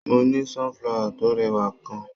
Mo ní sunflower tó rẹwà kan.